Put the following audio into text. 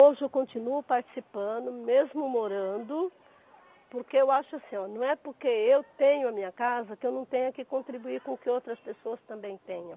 Hoje eu continuo participando, mesmo morando, porque eu acho assim, ó, não é porque eu tenho a minha casa que eu não tenho que contribuir com o que outras pessoas também tenham.